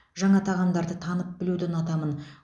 жаңа тағамдарды танып білуді ұнатамын